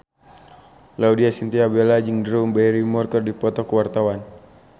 Laudya Chintya Bella jeung Drew Barrymore keur dipoto ku wartawan